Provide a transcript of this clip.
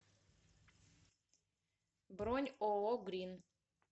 бронь ооо грин